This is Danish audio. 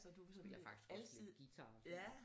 Så du sådan alsidig ja